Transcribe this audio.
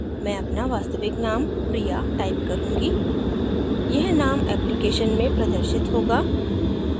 मैं अपना वास्तविक name priya type करूँगी यह name application में प्रदर्शित होगा